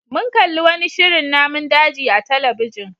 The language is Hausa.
Mun kalli wani shirin namun daji a talabijin.